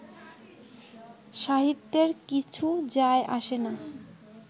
সাহিত্যের কিছু যায়-আসে না